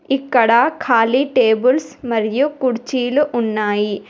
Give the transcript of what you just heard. ఇక్కడ ఖాళీ టేబుల్స్ మరియు కుర్చీలు ఉన్నాయి.